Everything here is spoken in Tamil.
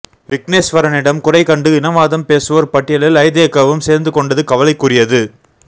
விக்கினேஸ்வரனிடம் குறை கண்டு இனவாதம் பேசுவோர் பட்டியலில் ஐதேகவும் சேர்ந்துகொண்டது கவலைக்குரியது